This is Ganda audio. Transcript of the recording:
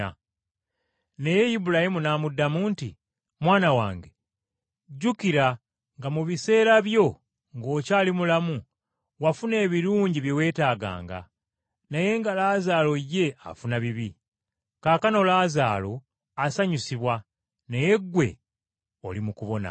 “Naye Ibulayimu n’amuddamu nti, ‘Mwana wange, jjukira nga mu biseera byo ng’okyali mulamu wafuna ebirungi bye weetaaganga, naye nga Laazaalo ye afuna bibi. Kaakano Laazaalo asanyusibwa naye gwe oli mu kubonaabona.